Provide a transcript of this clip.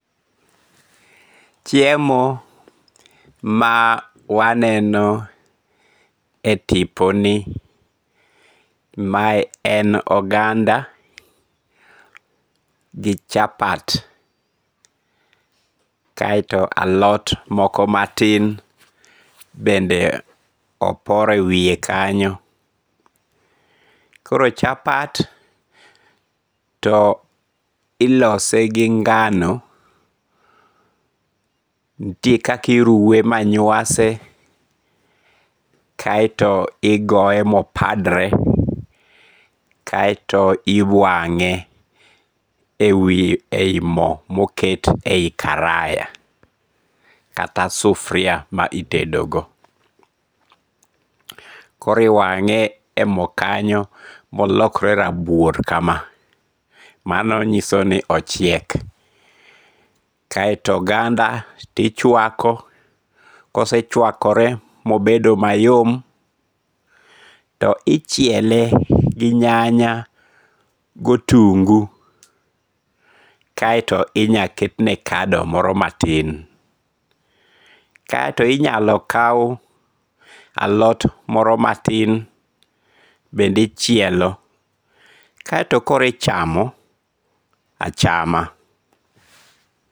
Chiemo ma waneno e tiponi mae en oganda gi chapat, kaeto alot moko matin bende opor e wiye kanyo, koro chapat to ilose gi nga'no nitie kaka iruwe manyuase kaeto igoye ma opadre, kaeto iwange' e yi mo moket e yi karaya kata sufuria ma itedego, koro iwange' e yi mo kanyo ma olokre rabuor kama mano nyiso ni ochiek, kaeto oganda to ichwako, kosechwakore mobedo mayom to ichiele gi nyanya gi otungu' kaeto inalo ketne kado moro matin kaeto inyalo kaw alot moro matin bende ichielo kaeto koro ichamo achama